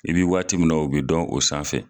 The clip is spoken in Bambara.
I bi waati min na u be dɔn o sanfɛ